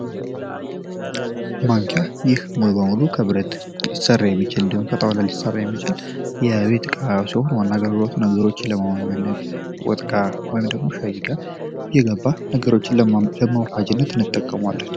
ማንኪያ ይህ ሙሉ ለሙሉ ከብረት ሊሰራ የሚችል እንዲሁም ከጣውላ ሊሰራ የሚችል የቤት እቃ ሲሆን ዋና አገልግሎቱም ነነገሮችን ለማገናኘት ወጥ ጋ ወይም ሻይ ጋ እየገባ ነገሮችን ለማዋሀጃነት እንጠቀመዋለን።